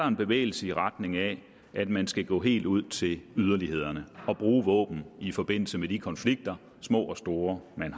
en bevægelse i retning af at man skal gå helt ud til yderlighederne og bruge våben i forbindelse med de konflikter små og store man